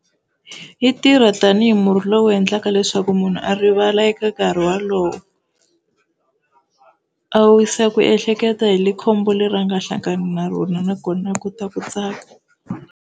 Yi tirha tani hi murhi lowu endlaka leswaku munhu a rivala eka nkarhi wolowo a wisa ku ehleketa hi le khombo leri a nga hlangani na rona nakona a kota ku tsaka.